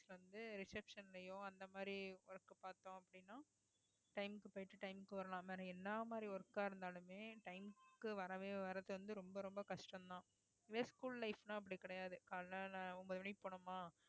வந்து reception லயோ அந்த மாதிரி work பார்த்தோம் அப்படின்னா time க்கு போயிட்டு time க்கு வரலாம் ஆனால் என்ன மாதிரி work ஆ இருந்தாலுமே time க்கு வரவே வர்றது வந்து ரொம்ப ரொம்ப கஷ்டம்தான் அதே school life ன்னா அப்படி கிடையாது காலையில ஒன்பது மணிக்கு போனோமா